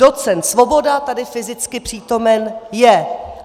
Docent Svoboda tady fyzicky přítomen je.